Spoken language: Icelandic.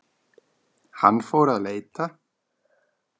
Hann fór að leita.